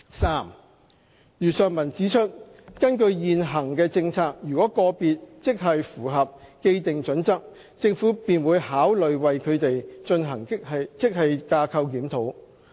三如上文指出，根據現行政策，如個別職系符合既定準則，政府便會考慮為他們進行職系架構檢討。